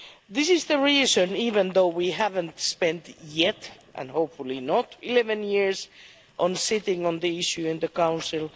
This is the reason, even though we haven't yet spent and hopefully not 11 years on sitting on the issue in the Council.